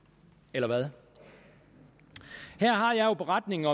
eller hvad her har jeg beretning